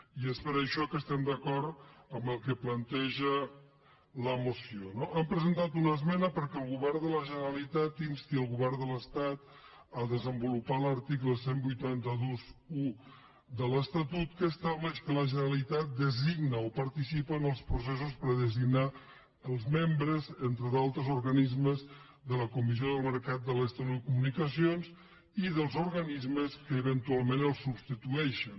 i és per això que estem d’acord amb el que planteja la moció no hi hem presentat una esmena perquè el govern de la generalitat insti el govern de l’estat a desenvolupar l’article divuit vint u de l’estatut que estableix que la generalitat designa o participa en els processos per a designar els membres entre d’altres organismes de la comissió del mercat de les telecomunicacions i dels organismes que eventualment el substitueixen